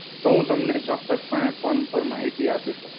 તો હું તમને ચોક્કસ પણે phone પર માહિતી આપી શકીશ